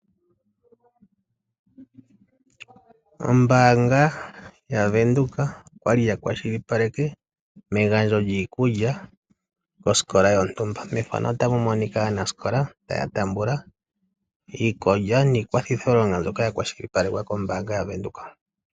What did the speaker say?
Ombaanga ya Venduka okwa li ya kwashilipaleke megandjo lyiikulya kosikola yontumba , methano ota mu monika aanasikola taya taamba iikulya niikwathitho longo ndjoka ya shilipalekwa ko mbaanga ya Venduka.